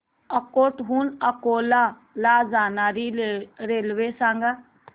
अकोट हून अकोला ला जाणारी रेल्वे सांग